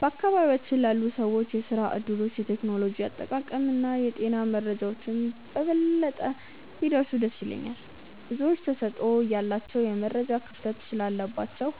በአካባቢያችን ላሉ ሰዎች የሥራ ዕድሎች፣ የቴክኖሎጂ አጠቃቀምና የጤና መረጃዎች በበለጠ ቢደርሱ ደስ ይለኛል። ብዙዎች ተሰጥኦ እያላቸው የመረጃ ክፍተት ስላለባቸው